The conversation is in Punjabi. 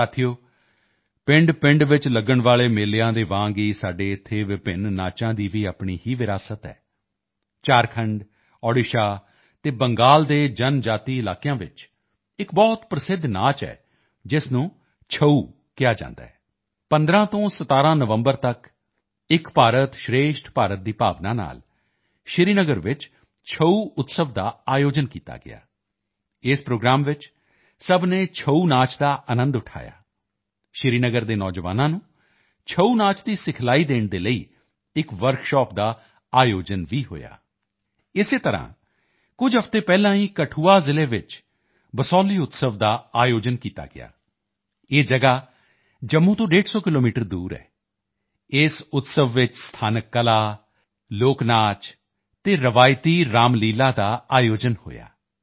ਸਾਥੀਓ ਪਿੰਡਪਿੰਡ ਵਿੱਚ ਲਗਣ ਵਾਲੇ ਮੇਲਿਆਂ ਦੇ ਵਾਂਗ ਹੀ ਸਾਡੇ ਇੱਥੇ ਵਿਭਿੰਨ ਨਾਚਾਂ ਦੀ ਭੀ ਆਪਣੀ ਹੀ ਵਿਰਾਸਤ ਹੈ ਝਾਰਖੰਡ ਓੜੀਸ਼ਾ ਅਤੇ ਬੰਗਾਲ ਦੇ ਜਨਜਾਤੀ ਇਲਾਕਿਆਂ ਵਿੱਚ ਇੱਕ ਬਹੁਤ ਪ੍ਰਸਿੱਧ ਨਾਚ ਹੈ ਜਿਸ ਨੂੰ ਛਊ ਨਾਮ ਨਾਲ ਬੁਲਾਉਂਦੇ ਹਨ 15 ਤੋਂ 17 ਨਵੰਬਰ ਤੱਕ ਏਕ ਭਾਰਤ ਸ਼੍ਰੇਸ਼ਠ ਭਾਰਤ ਦੀ ਭਾਵਨਾ ਨਾਲ ਸ਼੍ਰੀਨਗਰ ਵਿੱਚ ਛਊ ਉਤਸਵ ਦਾ ਆਯੋਜਨ ਕੀਤਾ ਗਿਆ ਇਸ ਪ੍ਰੋਗਰਾਮ ਵਿੱਚ ਸਭ ਨੇ ਛਊ ਨਾਚ ਦਾ ਆਨੰਦ ਉਠਾਇਆ ਸ਼੍ਰੀਨਗਰ ਦੇ ਨੌਜਵਾਨਾਮ ਨੂੰ ਛਊ ਨਾਚ ਦੀ ਟਰੇਨਿੰਗ ਦੇਣ ਦੇ ਲਈ ਇੱਕ ਵਰਕਸ਼ਾਪ ਦਾ ਭੀ ਆਯੋਜਨ ਹੋਇਆ ਇਸੇ ਤਰ੍ਹਾਂ ਕੁਝ ਹਫ਼ਤੇ ਪਹਿਲਾਂ ਹੀ ਕਠੂਆ ਜ਼ਿਲ੍ਹੇ ਵਿੱਚ ਬਸੋਹਲੀ ਉਤਸਵ ਦਾ ਆਯੋਜਿਤ ਕੀਤਾ ਗਿਆ ਇਹ ਜਗ੍ਹਾ ਜੰਮੂ ਤੋਂ 150 ਕਿਲੋਮੀਟਰ ਦੂਰ ਹੈ ਇਸ ਉਤਸਵ ਵਿੱਚ ਸਥਾਨਕ ਕਲਾ ਲੋਕਨਾਚ ਅਤੇ ਪਰੰਪਰਾਗਤ ਰਾਮਲੀਲਾ ਦਾ ਆਯੋਜਨ ਹੋਇਆ